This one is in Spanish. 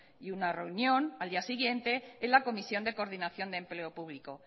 y una reunión al día siguiente en la comisión de coordinación de empleo público